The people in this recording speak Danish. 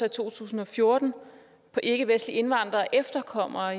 i to tusind og fjorten på ikkevestlige indvandrere og efterkommere og